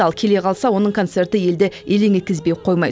ал келе қалса оның концерті елді елең еткізбей қоймайды